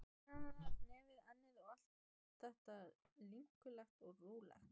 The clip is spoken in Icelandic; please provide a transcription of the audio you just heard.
Kinnarnar, nefið, ennið, allt var þetta linkulegt og rolulegt.